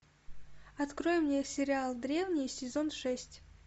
открой мне сериал древние сезон шесть